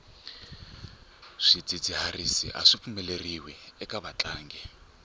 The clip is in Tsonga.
swidzidziharisi aswi pfumeleriwi eka vatlangi